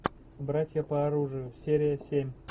братья по оружию серия семь